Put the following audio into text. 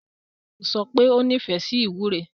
Tádé yóò sọ pé ó nífẹ̀ẹ́ sí ìwúre.